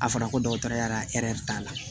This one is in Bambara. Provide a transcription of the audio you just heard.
A fɔra ko dɔgɔtɔrɔya t'a la